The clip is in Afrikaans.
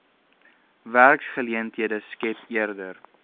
werksgeleenthede skep eerder